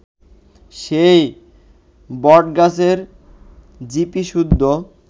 সেই বটগাছের চিপিসুদ্ধ